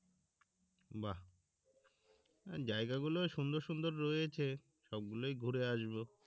বাহ্ জায়গা গুলো সুন্দর সুন্দর রয়েছে সব গুলোই ঘুরে আসবো